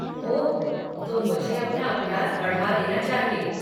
ओह, तो मुझे अपना अभ्यास बढ़ा देना चाहिए।